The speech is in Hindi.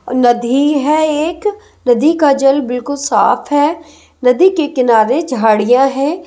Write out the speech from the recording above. नदी है एक नदी का जल बिल्कुल साफ है नदी के किनारे झाड़ियां हैं ।